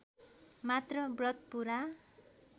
मात्र व्रत पूरा